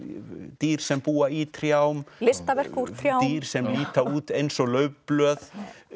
dýr sem búa í trjám listaverk úr trjám dýr sem líta út eins og laufblöð